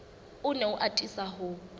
o ne a atisa ho